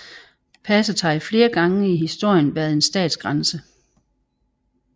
Passet har flere gange i historien været en statsgrænse